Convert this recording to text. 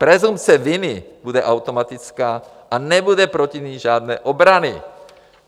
Presumpce viny bude automatická a nebude proti ní žádné obrany.